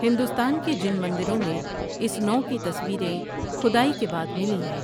ہندوستان کے جن مندروں میں اس نوع کی تصویریں کھدائی کے بعد ملی ہیں ۔